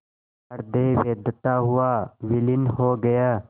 हृदय वेधता हुआ विलीन हो गया